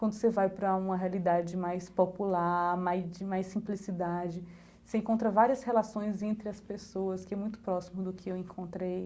Quando você vai para uma realidade mais popular, de mais simplicidade, você encontra várias relações entre as pessoas, que é muito próximo do que eu encontrei